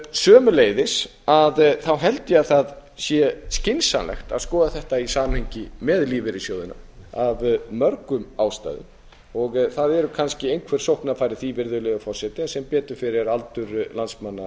sömuleiðis held ég að það sé skynsamlegt að skoða þetta í samhengi með lífeyrissjóðina af mörgum ástæðum og það eru kannski einhver sóknarfæri í því virðulegi forseti en sem betur fer er aldur landsmanna